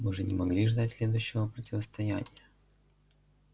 мы же не могли ждать следующего противостояния